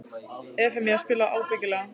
Evfemía, spilaðu lagið „Ábyggilega“.